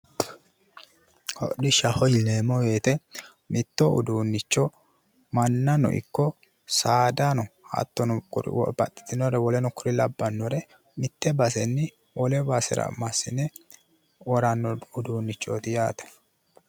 Hodhishshaho yineemmori woyte mitto uduunnicho mannano ikko saadano hattono kuri babbaxitinnore wole kuri labbannore mitte basenni wole basera woranno iduunnichooti yaate.